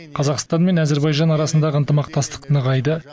қазақстан мен әзербайжан арасындағы ынтымақтастық нығайды